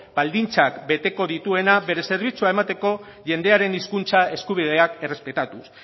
baldintzak beteko dituena bere zerbitzua emateko jendearen hizkuntza eskubideak errespetatuz